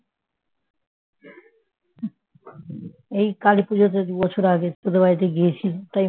এই কালী পুজোতে দুই বছর আগে তোদের বাড়িতে গিয়েছি তাই